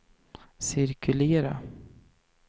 cirkulera